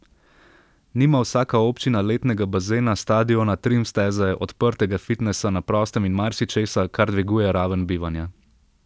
Nima vsaka občina letnega bazena, stadiona, trim steze, odprtega fitnesa na prostem in marsičesa, kar dviguje raven bivanja.